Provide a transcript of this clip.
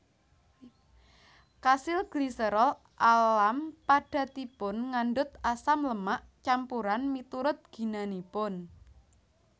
Kasil gliserol alam padatanipun ngandhut asam lemak campuran miturut ginanipun